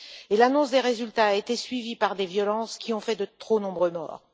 Et l'annonce des résultats a été suivie par des violences qui ont fait de trop nombreux morts.